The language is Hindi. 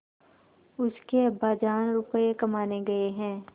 उसके अब्बाजान रुपये कमाने गए हैं